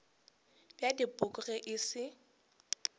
bja dipoko ge e se